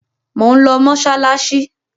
Mò ń lọ mọ́ṣáláṣí.